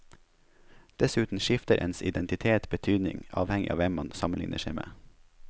Dessuten skifter ens identitet betydning avhengig av hvem man sammenligner seg med.